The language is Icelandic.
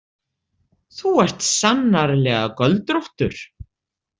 Þú ert sannarlega göldróttur.